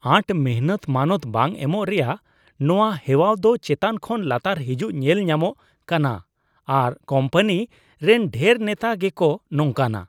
ᱟᱸᱴ ᱢᱤᱱᱦᱟᱹᱛ ᱢᱟᱱᱟᱛᱟᱣ ᱵᱟᱝ ᱮᱢᱚᱜ ᱨᱮᱭᱟᱜ ᱱᱚᱶᱟ ᱦᱮᱣᱟᱣ ᱫᱚ ᱪᱮᱛᱟᱱ ᱠᱷᱚᱱ ᱞᱟᱛᱟᱨ ᱦᱤᱡᱩᱜ ᱧᱮᱞ ᱧᱟᱢᱚᱜ ᱠᱟᱱᱟ ᱟᱨ ᱠᱳᱢᱯᱟᱱᱤ ᱨᱮᱱ ᱰᱷᱮᱨ ᱱᱮᱛᱟ ᱜᱮᱠᱚ ᱱᱚᱝᱠᱟᱱᱟ ᱾